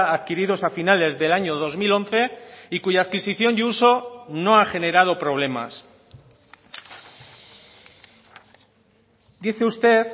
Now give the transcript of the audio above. adquiridos a finales del año dos mil once y cuya adquisición y uso no ha generado problemas dice usted